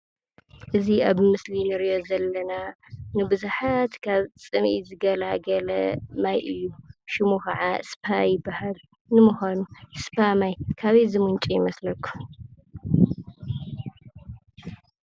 እዚ ኣብ ምስሊ እንሪኦ ዘለና ንብዙሓት ካብ ፅምኢ ዝገላግል ማይ እዩ፡፡ ሽሙ ከዓ ስፓ ይበሃል፡፡ ንምዃኑ ስፓ ማይ ካበይ ዝምንጩ ይመስለኩም?